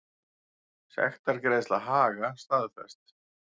Sektargreiðsla Haga staðfest